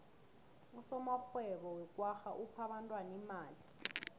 usomarhwebo wekwagga uphe abentwana imali